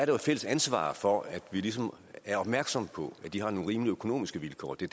jo et fælles ansvar for at vi ligesom er opmærksomme på at de har nogle rimelige økonomiske vilkår og det